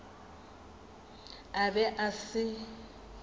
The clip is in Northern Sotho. a be a se a